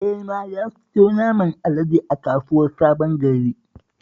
Ema ya siyo naman alade a kasuwar Sabon Gari